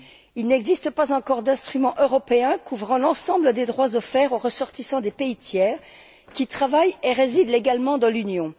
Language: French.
Il n'existe pas encore d'instrument européen couvrant l'ensemble des droits offerts aux ressortissants des pays tiers qui travaillent et résident légalement dans l'Union.